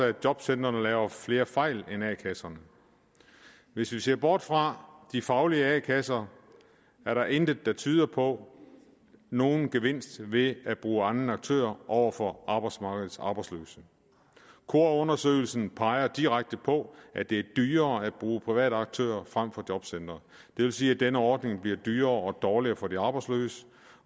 at jobcentrene laver flere fejl end a kasserne hvis vi ser bort fra de faglige a kasser er der intet der tyder på nogen gevinst ved at bruge andre aktører over for arbejdsmarkedets arbejdsløse kora undersøgelsen peger direkte på at det er dyrere at bruge private aktører frem for jobcentre det vil sige at denne ordning bliver dyrere og dårligere for de arbejdsløse